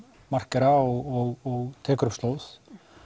markera og tekur upp slóð